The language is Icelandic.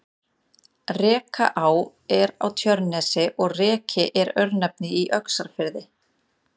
Rekaá er á Tjörnesi og Reki er örnefni í Öxarfirði.